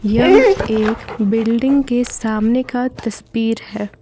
यह एक बिल्डिंग के सामने का तस्वीर है।